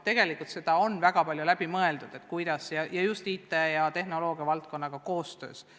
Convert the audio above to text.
Tegelikult on väga palju läbi mõeldud, mida teha just IT valdkonnaga koostöös.